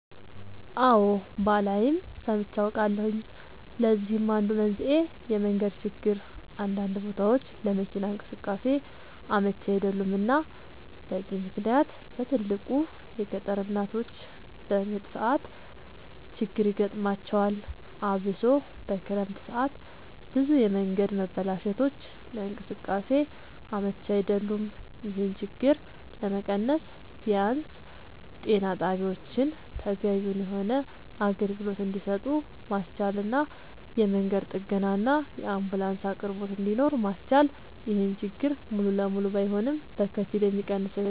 አወ ባላይም ሰምቼ አውቃለሁኝ ለዚህም አንዱ መንስኤ የመንገድ ችግር አንዳንድ ቦታወች ለመኪና እንቅስቃሴ አመች አይደሉም እና በዚህ ምክንያት በትልቁ የገጠር እናቶች በምጥ ሰዓት ችግር ይገጥማቸዋል አብሶ በክረምት ሰዓት ብዙ የመንገድ መበላሸቶች ለእንቅስቃሴ አመች አይደሉም ይሄን ችግር ለመቀነስ ቢያንስ ጤና ጣቢያወችን ተገቢውን የሆነ አገልግሎት እንድሰጡ ማስቻልና የመንገድ ጥገናና የአንቡላንስ አቅርቦት እንድኖር ማስቻል ይሄን ችግር ሙሉ ለሙሉ ባይሆንም በከፊል የሚቀንሰው ይሆናል